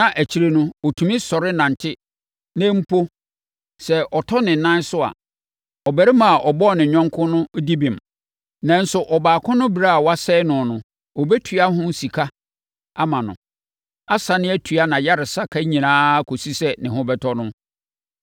na akyire no, ɔtumi sɔre nante na mpo sɛ ɔtɔ ne nan so a, ɔbarima a ɔbɔɔ ne yɔnko no di bem, nanso ɔbaako no berɛ a wasɛe no no, ɔbɛtua ho sika ama no, asane atua nʼayaresa ka nyinaa kɔsi sɛ ne ho bɛtɔ no.